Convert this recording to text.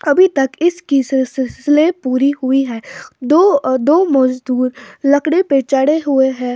अभी तक इसकी सिल सिल सिलसिले पूरी हुई हैं दो अ दो मजदूर लकड़ी पे चढ़े हुए हैं।